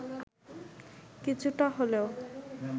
কিছুটা হলেও